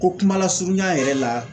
Ko kuma lasurunya yɛrɛ la